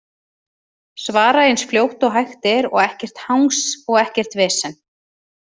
Svara eins fljótt og hægt er og ekkert hangs og ekkert vesen?